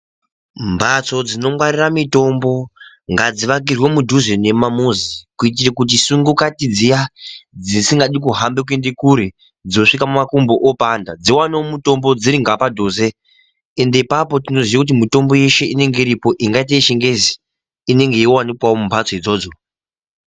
Mbatso dzinongwarira mitombo ngadzivakirwe mudhuze nemumamuzi, kuitiro kuti sungokati dziya dzisingadi kuhamba kuende kure, dzosvika makumbo opanda, dziwanewo mutombo dziri ngapadhuze, Ende ipapo tinoziya kuti mitombo yeshe inenge iripo ingaite yechiNgezi inenge yeiwanikwawo mumbatso idzodzo.